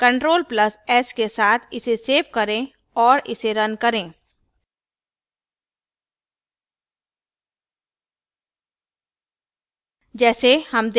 ctrl + s के साथ इसे सेव करें और इसे रन करें